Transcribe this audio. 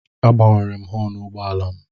Agbanwere m họọnụ ụgbọala m.